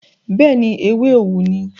bẹ́ẹ̀ni, ewé òwú ni.